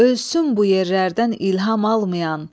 Ölsün bu yerlərdən ilham almayan,